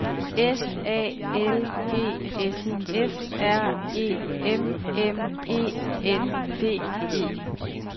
S A L G S F R E M M E N D E